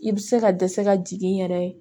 I bɛ se ka dɛsɛ ka jigin n yɛrɛ ye